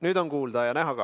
Nüüd on kuulda ja näha ka.